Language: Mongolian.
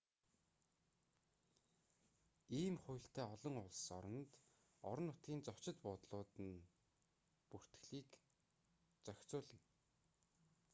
ийм хуультай олон улс оронд орон нутгийн зочид буудлууд нь бүртгэлийг заавал асууж лавлаарай зохицуулна